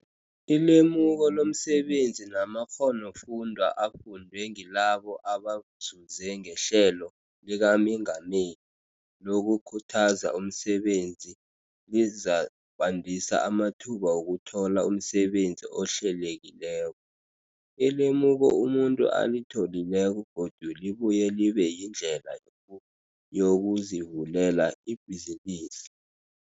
Ilemuko lomsebenzi namakghonofundwa afundwe ngilabo abazuze ngeHlelo likaMengameli lokuKhuthaza umSebenzi lizakwandisa amathuba wokuthola umsebenzi ohlelekileko. Ilemuko umuntu alitholileko godu libuye libe yindlela yokuyokuzivulela ibhizinisi.